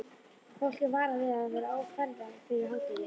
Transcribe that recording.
Fólk er varað við að vera á ferð fyrir hádegi.